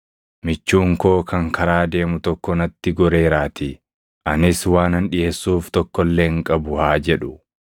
michuun koo kan karaa deemu tokko natti goreeraatii; anis waanan dhiʼeessuuf tokko illee hin qabu’ haa jedhu.